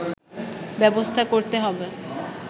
ব্যবস্থা করতে হবে